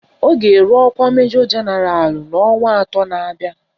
Ọ ga-eru ọkwa Majọ Jenaralụ n'ọnwa atọ na-abịa